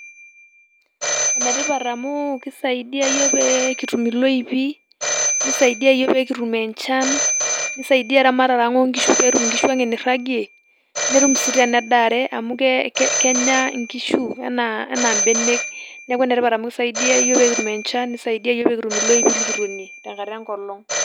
Enatipat amu kisaidia yook pee kituum eloipii, nisaidia yook pee akituum enchaan, niisaidia ramaratara ang' e inkishuu pee etuum inkishuu enee nairang'e, netuum si tene endaare amu kenya inkishuu ena beelek. Neeko paa esaidia yook pee kituum enchaan esaidia yook pee enkituum eloipi nikiwuene teng'ataa engolon.